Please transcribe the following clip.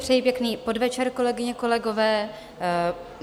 Přeji pěkný podvečer, kolegyně, kolegové.